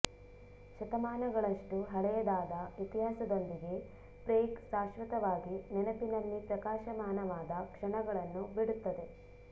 ಶತಮಾನಗಳಷ್ಟು ಹಳೆಯದಾದ ಇತಿಹಾಸದೊಂದಿಗೆ ಪ್ರೇಗ್ ಶಾಶ್ವತವಾಗಿ ನೆನಪಿನಲ್ಲಿ ಪ್ರಕಾಶಮಾನವಾದ ಕ್ಷಣಗಳನ್ನು ಬಿಡುತ್ತದೆ